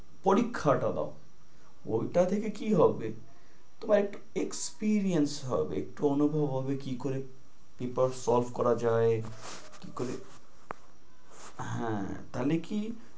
পরীক্ষাটা দাও। ঐটা থেকে কি হবে, তোমার একটু experience হবে, একটু অনুভব হবে কি করে papers solve করা যায়, কি করে~ হ্যাঁ তাইলে কি